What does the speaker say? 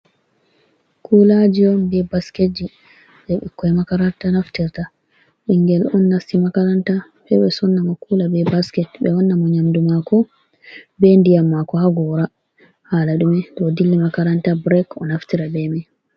Kulaji on be basketji je ɓikkoi makaranta naftirta. Ɓingel on nasti makaranta sai ɓe sonna mo kula be basket ɓe wanna mo nyamdu mako be ndiyam mako ha gora hala dume to dilli makaranta brek o naftirta be mai.